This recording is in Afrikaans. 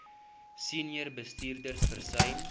senior bestuurders versuim